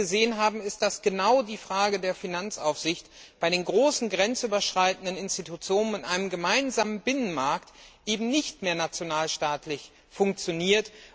Was wir doch gesehen haben, ist, dass genau die Frage der Finanzaufsicht bei den großen grenzüberschreitenden Institutionen an einem gemeinsamen Binnenmarkt eben nicht mehr nationalstaatlich funktioniert.